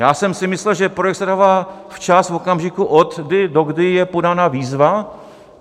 Já jsem si myslel, že projekt se dává včas v okamžiku, od kdy do kdy je podána výzva.